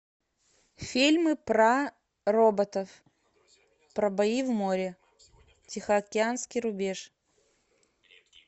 фильмы про роботов про бои в море тихоокеанский рубеж